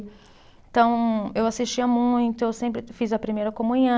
Então, eu assistia muito, eu sempre fiz a primeira comunhã